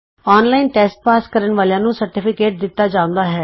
online test pass ਕਰਨ ਵਾਲਿਆਂ ਨੂੰ ਸਰਟੀਫਿਕੇਟ ਦਿਤਾ ਜਾਉਂਦਆ ਹੈ